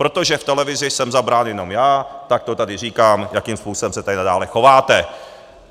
Protože v televizi jsem zabrán jenom já, tak to tady říkám, jakým způsobem se tady nadále chováte.